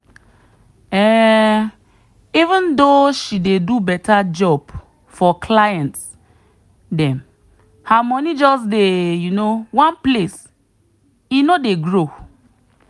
um even though she dey do better job for client dem her money just dey um one place e no dey grow.